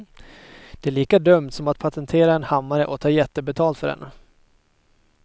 Det är lika dumt som att patentera en hammare och ta jättebetalt för den.